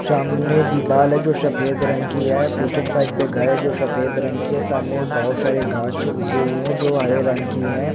सामने दीवाल है जो सफेद रंगकी है पीछे साइड पे घर है जो सफेद रंगकी है सामने बोहोत सारे घास उगे हुए हैं जो हरे रंगकी है।